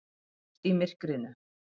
Ljós í myrkrinu.